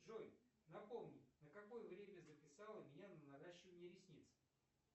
джой напомни на какое время записала меня на наращивание ресниц